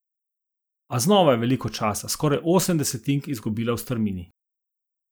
A znova je veliko časa, skoraj osem desetink, izgubila v strmini.